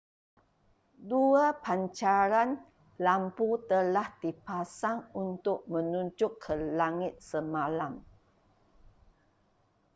dua pancaran lampu telah dipasang untuk menunjuk ke langit semalam